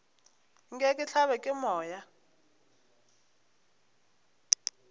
nke ke hlabje ke moya